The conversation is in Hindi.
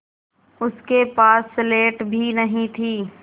उसके पास स्लेट भी नहीं थी